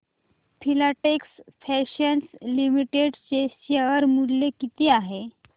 Filatex fashions limited चे share मूल्य किती आहे